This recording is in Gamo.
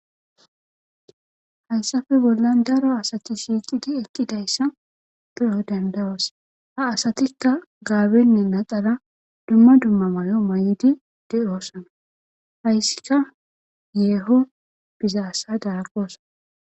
Hayssafe bollan daro asati shiiqidi ekkidayssa pe7o dandawasa ha asatikka gaabenne naxala dumma dumma mayo may7idi de7ossana hayssika yeeho bizaasa dagaqosan